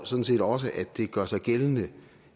sådan set også gør sig gældende